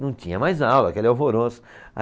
Não tinha mais aula, aquele alvoroço.